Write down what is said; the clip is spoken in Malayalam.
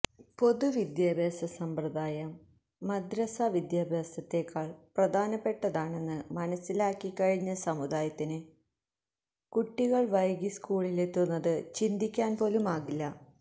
പൊതുവിദ്യാഭ്യാസ സമ്പ്രദായം മദ്റസാ വിദ്യാഭ്യാസത്തേക്കാള് പ്രധാനപ്പെട്ടതാണെന്ന് മനസ്സിലാക്കിക്കഴിഞ്ഞ സമുദായത്തിന് കുട്ടികള് വൈകി സ്കൂളിലെത്തുന്നത് ചിന്തിക്കാന്പോലുമാകില്ല